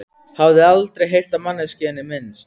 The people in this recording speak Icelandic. Hafði aldrei heyrt á manneskjuna minnst.